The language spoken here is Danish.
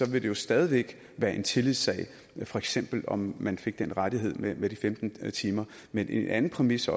vil det jo stadig væk være en tillidssag for eksempel om man fik den rettighed med med de femten timer men en anden præmis